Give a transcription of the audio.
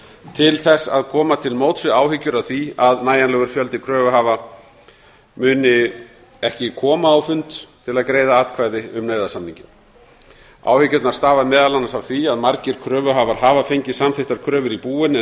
til þess að koma til móts við áhyggjur af því að nægjanlegur fjöldi kröfuhafa muni ekki koma á fund til að greiða atkvæði um nauðasamninginn áhyggjurnar stafa meðal annars af því að margir kröfuhafar af fengið samþykktar kröfur í búin en